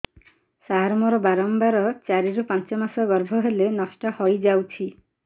ସାର ମୋର ବାରମ୍ବାର ଚାରି ରୁ ପାଞ୍ଚ ମାସ ଗର୍ଭ ହେଲେ ନଷ୍ଟ ହଇଯାଉଛି